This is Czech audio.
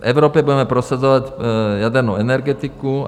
"V Evropě budeme prosazovat jadernou energetiku."